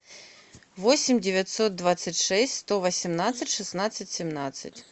восемь девятьсот двадцать шесть сто восемнадцать шестнадцать семнадцать